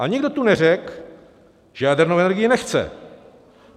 A nikdo tu neřekl, že jadernou energii nechce.